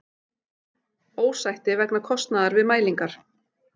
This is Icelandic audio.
Ósætti vegna kostnaðar við mælingar